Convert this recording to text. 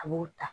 A b'o ta